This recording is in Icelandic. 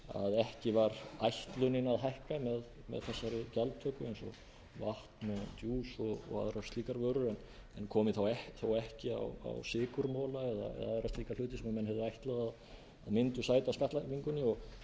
ekki var ætlunin að hækka á þessari gjaldtöku eins og vatn djús og aðrar slíkar vörur en komi þó ekki á sykurmola eða aðra slíka hluti sem menn höfðu ætlað að myndu sæta skattlagningunni og